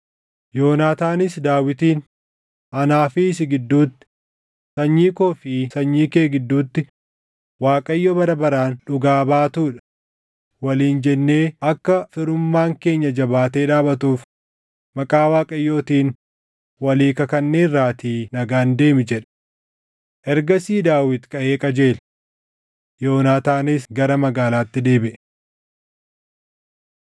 Yoonaataanis Daawitiin, “ ‘Anaa fi si gidduutti, sanyii koo fi sanyii kee gidduutti Waaqayyo bara baraan dhugaa baatuu dha’ waliin jennee akka firummaan keenya jabaatee dhaabatuuf maqaa Waaqayyootiin walii kakanneerraatii nagaan deemi” jedhe. Ergasii Daawit kaʼee qajeele. Yoonaataanis gara magaalaatti deebiʼe.